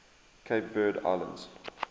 cape verde islands